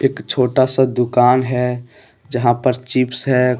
एक छोटा सा दुकान है जहां पर चिप्स है।